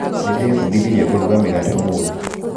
Nĩndĩbundithirie kũruga mĩgate ũmũthĩ